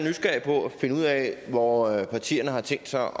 finde ud af hvordan partierne har tænkt sig